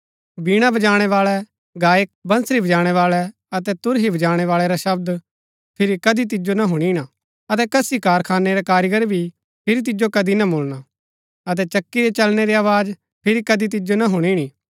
वीणा बजाणैवाळै गायक बंसरी बजाणैवाळै अतै तुरही बजाणैवाळै रा शब्द फिरी कदी तिजो ना हुणीना अतै कसी कारखानै रा कारीगर भी फिरी तिजो कदी ना मुळणा अतै चक्की रै चलणै री आवाज फिरी कदी तिजो ना हुणिणी